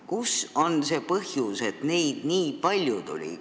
Mis on see põhjus, et neid nii palju tuli?